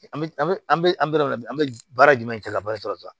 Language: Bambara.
An bɛ an bɛ an bɛ an bɛ an bɛ baara jumɛn kɛ ka baara sɔrɔ